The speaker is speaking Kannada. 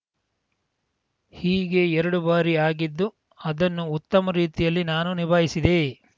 ಹೀಗೆ ಎರಡು ಬಾರಿ ಆಗಿದ್ದು ಅದನ್ನು ಉತ್ತಮ ರೀತಿಯಲ್ಲಿ ನಾನು ನಿಭಾಯಿಸಿದೆ